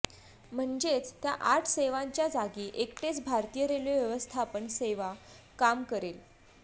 म्हणजेच त्या आठ सेवांच्या जागी एकटेच भारतीय रेल्वे व्यवस्थापन सेवा काम करेल